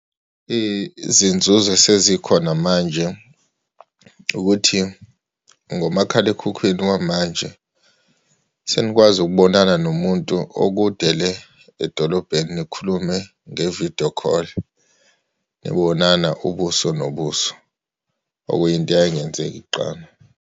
Izinzuzo esezikhona manje ukuthi ngomakhalekhukhwini wamanje, senikwazi ukubonana nomuntu u okude le edolobheni, nikhulume nge-video call, nibonana ubuso nobuso, okuyinto eyayingenzeki kuqala.